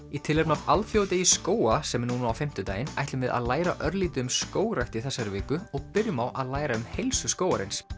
í tilefni af alþjóðadegi skóga sem er núna á fimmtudaginn ætlum við að læra örlítið um skógrækt í þessari viku og byrjum á að læra um heilsu skógarins